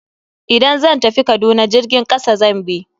Idan zan tafi Kaduna jirgin kasa zan bi.